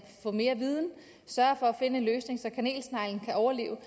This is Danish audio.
få mere viden og at finde en løsning så kanelsneglen kan overleve